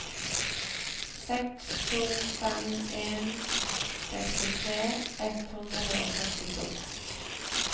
seks to fem en sekstitre ett hundre og førtito